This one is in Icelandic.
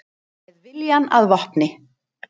Með viljann að vopni